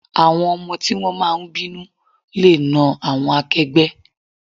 Àwọn ọmọ tí wón máa ń bínú le náà àwọn akẹgbẹ́.